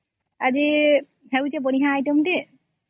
ଆରେ ହେବ ଗୋଟେ ଭଲ item ଟେ ଯେ